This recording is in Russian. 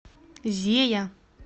зея